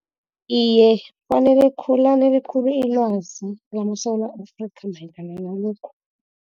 Iye, lanele khulu ilwazi lamaSewula Afrika mayelana nalokhu.